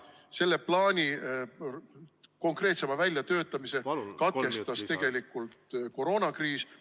Selle plaani konkreetsema väljatöötamise katkestas tegelikult koroonakriis.